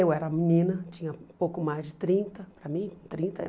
Eu era menina, tinha pouco mais de trinta, para mim trinta é